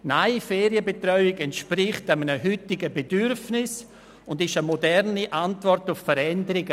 Nein, Ferienbetreuung entspricht einem heutigen Bedürfnis und ist eine moderne Antwort auf Veränderungen.